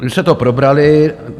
My jsme to probrali.